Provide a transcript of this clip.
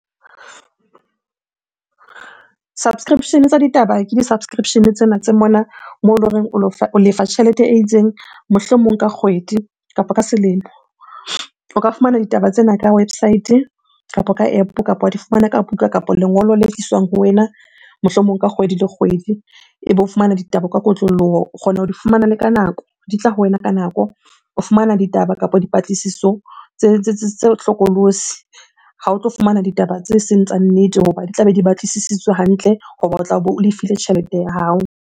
Subscription-e tsa ditaba ke di-subscription-e tsena tse mona moo loreng o lefa tjhelete e itseng mohlomong ka kgwedi kapo ka selemo. O ka fumana ditaba tsena ka website-e, kapa ka App-o, kapa wa di fumana ka buka kapo lengolo le tliswang ho wena mohlomong ka kgwedi le kgwedi ebe o fumana ditaba ka kotloloho. O kgona ho di fumana le ka nako, di tla ho wena ka nako. O fumana ditaba kapo dipatlisiso tse hlokolosi, ha o tlo fumana ditaba tse seng tsa nnete hoba di tlabe di batlisisitswe hantle hoba o tlabe o lefile tjhelete ya hao.